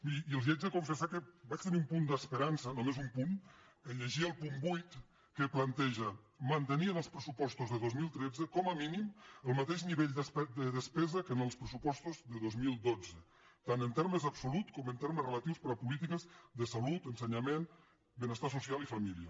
miri i els haig de confessar que vaig tenir un punt d’esperança només un punt en llegir el punt vuit que planteja mantenir en els pressupostos de dos mil tretze com a mínim el mateix nivell de despesa que en els pressupostos de dos mil dotze tant en termes absoluts com en termes relatius per a les polítiques de salut ensenyament benestar social i família